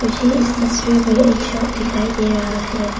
मुझे इस तस्वीर में एक शॉप दिखाई दे रहा है।